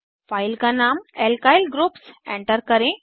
file का नाम alkyl groups enter करें